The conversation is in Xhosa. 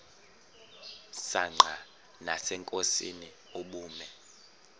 msanqa nasenkosini ubume